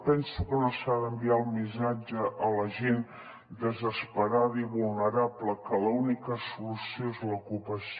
penso que no s’ha d’enviar el missatge a la gent desesperada i vulnerable que l’única solució és l’ocupació